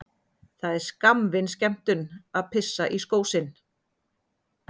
Það er skammvinn skemmtun að pissa í skó sinn.